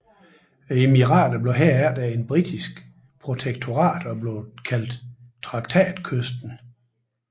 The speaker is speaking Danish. Emiraterne blev herefter et britisk protektorat og blev kaldt Traktatkysten